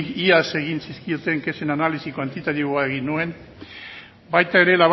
iaz egin zizkioten kexen analisi kuantitatiboa egin nuen baita ere